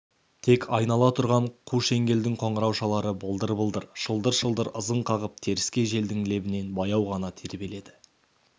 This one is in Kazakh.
тек айнала тұрған қу шеңгелдің қоңыраушалары былдыр-былдыр шылдыр-шылдыр ызың қағып теріскей желдің лебінен баяу ғана тербеледі